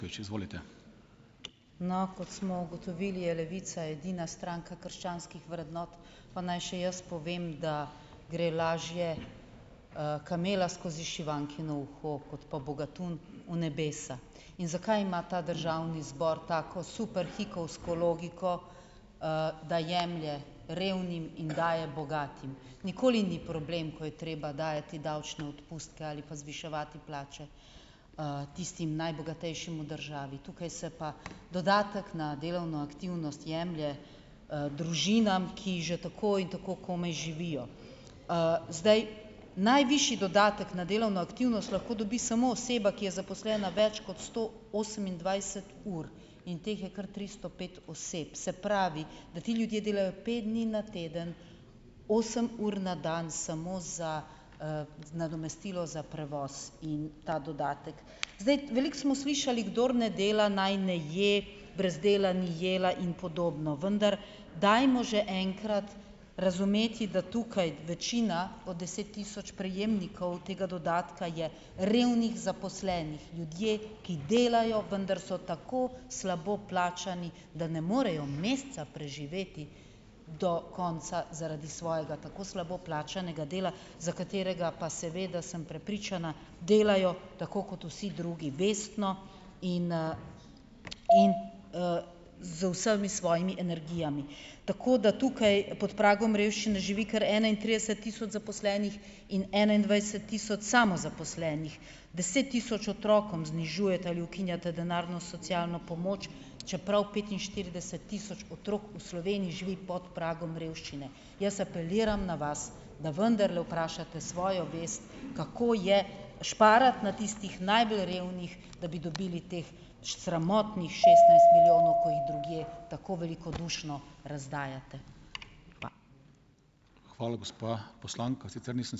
No, kot smo ugotovili, je Levica edina stranka krščanskih vrednot, pa naj še jaz povem, da gre lažje, kamela skozi šivankino uho, kot pa bogatun v nebesa. In zakaj ima ta državni zbor tako super hikovsko logiko, da jemlje revnim in daje bogatim? Nikoli ni problem, ko je treba dajati davčne odpustke ali pa zviševati plače, tistim najbogatejšim v državi. Tukaj se pa dodatek na delovno aktivnost jemlje, družinam, ki že tako in tako komaj živijo. Zdaj, najvišji dodatek na delovno aktivnost lahko dobi samo oseba, ki je zaposlena več kot sto osemindvajset ur, in teh je kar tristo pet oseb. Se pravi, da ti ljudje delajo pet dni na teden, osem ur na dan samo za, nadomestilo za prevoz in ta dodatek. Zdaj, veliko smo slišali: "Kdor ne dela, naj ne je", "Brez dela ni jela" in podobno, vendar dajmo že enkrat razumeti, da tukaj večina od deset tisoč prejemnikov tega dodatka je revnih zaposlenih. Ljudje, ki delajo, vendar so tako slabo plačani, da ne morejo meseca preživeti do konca zaradi svojega tako slabo plačanega dela, za katerega pa, seveda sem prepričana, delajo tako, kot vsi drugi - vestno in, in, z vsemi svojimi energijami. Tako da tukaj pod pragom revščine živi kar enaintrideset tisoč zaposlenih in enaindvajset tisoč samozaposlenih. Deset tisoč otrokom znižujete ali ukinjate denarno socialno pomoč, čeprav petinštirideset tisoč otrok v Sloveniji živi pod pragom revščine. Jaz apeliram na vas, da vendarle vprašate svojo vest, kako je šparati na tistih najbolj revnih, da bi dobili teh sramotnih šestnajst milijonov, ko jih drugje tako velikodušno razdajate.